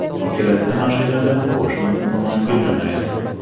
Ikkalasi mashinada qo‘shni Ummonga jo‘naydi.